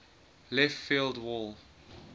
left field wall